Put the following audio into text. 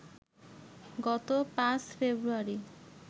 গত ৫ ফেব্রুয়ারি